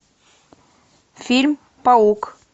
фильм паук